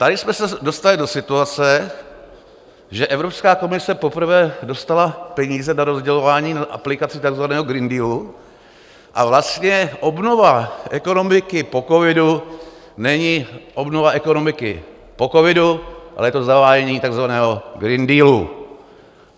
Tady jsme se dostali do situace, že Evropská komise poprvé dostala peníze na rozdělování, na aplikaci takzvaného Green Dealu, a vlastně obnova ekonomiky po covidu není obnova ekonomiky po covidu, ale je to zavádění takzvaného Green Dealu.